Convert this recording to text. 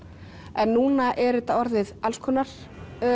en núna er þetta orðið alls konar